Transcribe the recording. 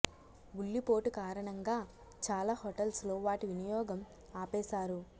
ఉల్లి పోటు కారణంగా చాలా హోటల్స్ లో వాటి వినియోగం ఆపేశారు